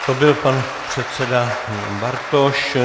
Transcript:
To byl pan předseda Ivan Bartoš.